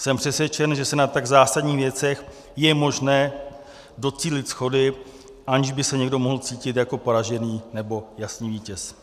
Jsem přesvědčen, že se na tak zásadních věcech je možné docílit shody, aniž by se někdo mohl cítit jako poražený, nebo jasný vítěz.